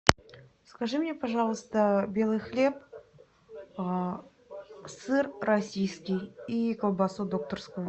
закажи мне пожалуйста белый хлеб сыр российский и колбасу докторскую